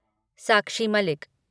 Sakshi Malik